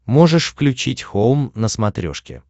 можешь включить хоум на смотрешке